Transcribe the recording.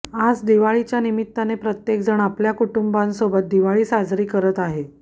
आज दिवाळीच्या निमित्ताने प्रत्येक जण आपल्या कुटुंबासोबत दिवाळी साजरा करत आहे